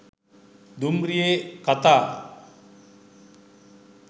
දුම්රියේ කතා